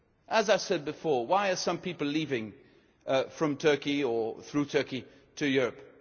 As I said before, why are some people leaving from Turkey or through Turkey to Europe?